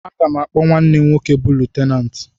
Aga m akpọ nwanne m nwoke bụ Lutenant